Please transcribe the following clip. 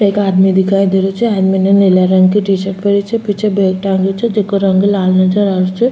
एक आदमी दिखाई दे रहियो छे आदमी ने नीले रंग की टीशर्ट पहरी छे पीछे बेग टांग्यो छे जेको रंग लाल नजर आ रहियो छे।